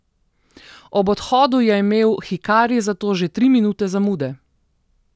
Ob odhodu je imel hikari zato že tri minute zamude!